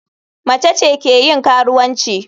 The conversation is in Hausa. Mace ce ke yin karuwanci.